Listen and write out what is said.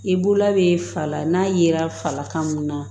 I bula bɛ fala n'a yera falakan mun na